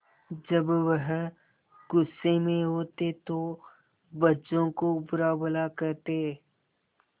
जब वह गुस्से में होते तो बच्चों को बुरा भला कहते